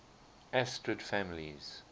asterid families